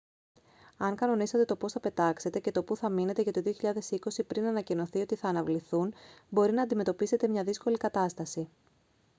αν κανονίσατε το πώς θα πετάξετε και του που θα μείνετε για το 2020 πριν ανακοινωθεί ότι θα αναβληθούν μπορεί να αντιμετωπίσετε μια δύσκολη κατάσταση